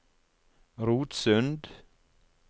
Rotsund